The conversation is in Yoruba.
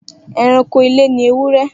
Eranko ile ni ewúrẹ́.